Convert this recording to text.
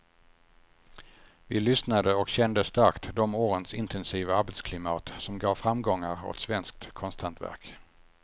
Vi lyssnade och kände starkt de årens intensiva arbetsklimat som gav framgångar åt svenskt konsthantverk.